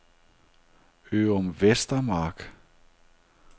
Ørum Vestermark